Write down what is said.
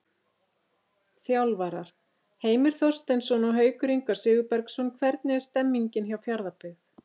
Þjálfarar: Heimir Þorsteinsson og Haukur Ingvar Sigurbergsson Hvernig er stemningin hjá Fjarðabyggð?